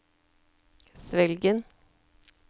Svelgen